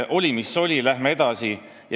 Oli, mis oli, läheme edasi.